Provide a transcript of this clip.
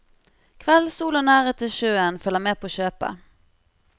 Kveldssol og nærhet til sjøen følger med på kjøpet.